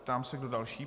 Ptám se, kdo další.